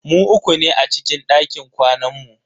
Mu uku ne a cikin dakin kwanan mu.